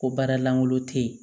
Ko baara lankolon tɛ ye